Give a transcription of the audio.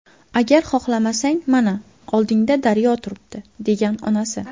Agar xohlamasang, mana, oldingda daryo turibdi”, degan onasi.